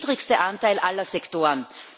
Das ist der niedrigste Anteil aller Sektoren.